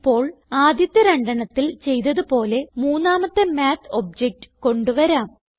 ഇപ്പോൾ ആദ്യത്തെ രണ്ടെണ്ണത്തിൽ ചെയ്തത് പോലെ മൂന്നാമത്തെ മാത്ത് ഒബ്ജക്ട് കൊണ്ട് വരാം